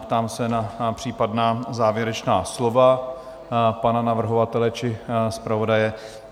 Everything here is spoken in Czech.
Ptám se na případná závěrečná slova pana navrhovatele či zpravodaje?